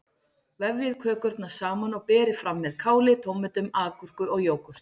Vefjið kökurnar saman og berið fram með káli, tómötum, agúrku og jógúrt.